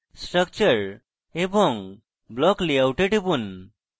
structure এবং block layout এ টিপুন